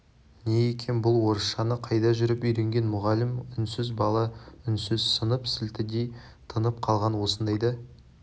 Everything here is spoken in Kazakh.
не екен бұл орысшаны қайда жүріп үйренген мұғалім үнсіз бала үнсіз сынып сілтідей тынып қалған осындайда